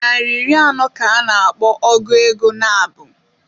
Naịra iri anọ ka a na-akpọ ọgu ego nabụ.